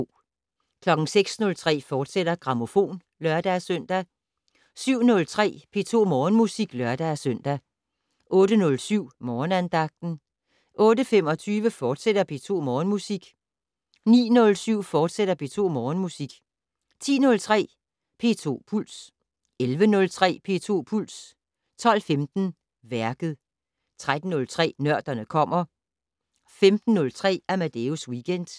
06:03: Grammofon, fortsat (lør-søn) 07:03: P2 Morgenmusik (lør-søn) 08:07: Morgenandagten 08:25: P2 Morgenmusik, fortsat 09:07: P2 Morgenmusik, fortsat 10:03: P2 Puls 11:03: P2 Puls 12:15: Værket 13:03: Nørderne kommer 15:03: Amadeus Weekend